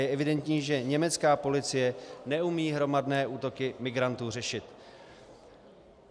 Je evidentní, že německá policie neumí hromadné útoky migrantů řešit.